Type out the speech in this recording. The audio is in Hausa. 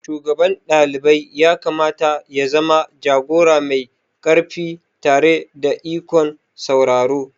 Shugaban dalibai yakamata ya zama jagora mai ƙarfi tare da ikon sauraro.